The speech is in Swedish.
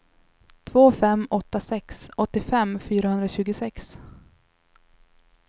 två fem åtta sex åttiofem fyrahundratjugosex